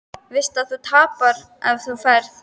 Veist að þú tapar ef þú ferð.